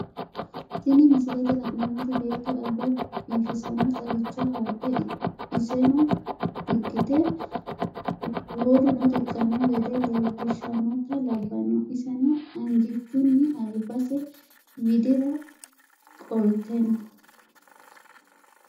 Tini misilete la`nemoti beeto alba biifisano xagicho haadhe iseno riqite woluno riqano gede leelishanota labano iseno angichuni albise widira qolte no.